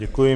Děkuji.